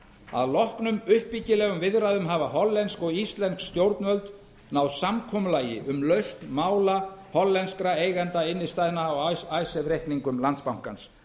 að loknum uppbyggilegum viðræðum hafa hollensk og íslensk stjórnvöld náð samkomulagi um lausn mála hollenskra eigenda innstæðna á icesave reikningum landsbankans